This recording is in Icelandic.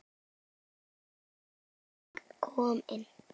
Friðrik kom inn.